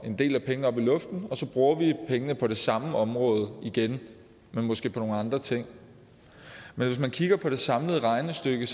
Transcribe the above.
en del af pengene op i luften og så bruger vi pengene på det samme område igen men måske på nogle andre ting men hvis man kigger på det samlede regnestykke